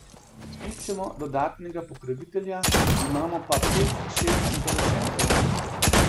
Iščemo dodatnega pokrovitelja, imamo pa pet, šest interesentov.